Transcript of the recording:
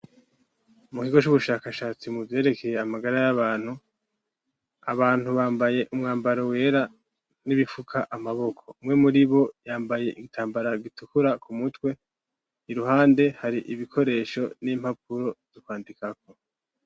Mu kigo c'ubushakashatsi mu vyerekeye amagara y'abantu, abantu bambaye umwambaro wera, n'ibifuka amaboko. Umwe muri bo yambaye igitambara gitukura ku mutwe, iruhande hari ibikoresho n'impapuro zo kwandikako.